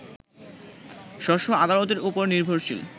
স্ব স্ব আদালতের উপর নির্ভরশীল